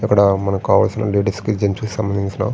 ఇక్కడ మనకు కావల్సిన లేడీస్ కి జెంట్స్ కి సంబందించిన --